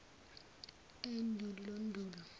endulondulo